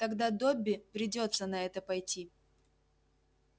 тогда добби придётся на это пойти